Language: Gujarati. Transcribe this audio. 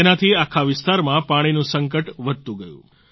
તેનાથી આખા વિસ્તારમાં પાણીનું સંકટ વધતું ગયું